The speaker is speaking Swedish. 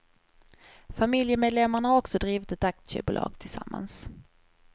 Familjemedlemmarna har också drivit ett aktiebolag tillsammans.